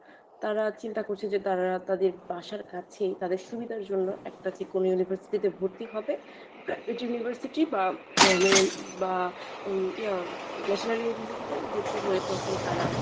তারা চিন্তা করছে যে তারা তাদের বাসার কাছে তাদের সুবিধার জন্য একটা যেকোনো university তে ভর্তি হবে private university উম বা national university তে ভর্তি হয়ে তখন তারা